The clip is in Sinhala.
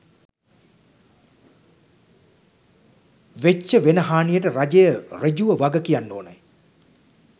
වෙච්ච වෙන හානියට රජය සෘජුව වගකියන්න